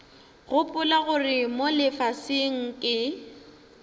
gopola gore mo lefaseng ke